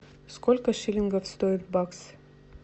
сколько шиллингов стоит бакс